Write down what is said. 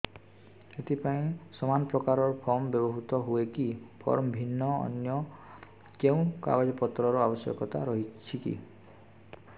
ଏଥିପାଇଁ ସମାନପ୍ରକାର ଫର୍ମ ବ୍ୟବହୃତ ହୂଏକି ଫର୍ମ ଭିନ୍ନ ଅନ୍ୟ କେଉଁ କାଗଜପତ୍ରର ଆବଶ୍ୟକତା ରହିଛିକି